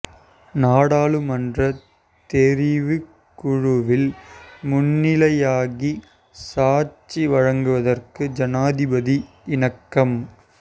நாடாளுமன்றத் தெரிவுக் குழுவில் முன்னிலையாகி சாட்சி வழங்குவதற்கு ஜனாதிபதி இணக்கம்